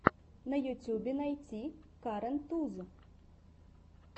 на ютубе найти карен туз